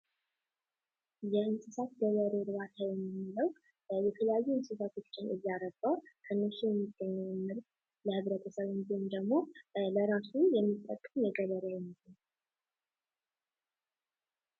የእንስሳት ገበሬ እርባታ የምንለው የተለያዩ እንስሳቶችን እያረባ ከነሱ የሚገኘውን ምርት ለገበያ የሚያውልና ወይም ደግሞ ለራሱ የሚጠቀም ገበሬ ነው።